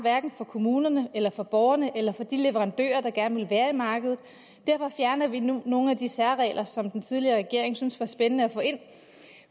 for kommunerne eller for borgerne eller for de leverandører der gerne ville være i markedet derfor fjerner vi nogle nogle af de særregler som den tidligere regering syntes var spændende at få ind